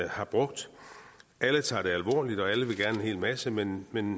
har brugt alle tager det alvorligt og alle vil gerne en hel masse men men